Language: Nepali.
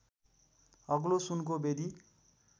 अग्लो सुनको वेदी